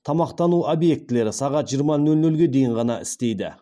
тамақтану объектілері сағат жиырма нөл нөлге дейін ғана істейді